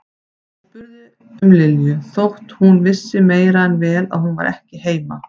Og spurði um Lilju þótt hún vissi meira en vel að hún var ekki heima.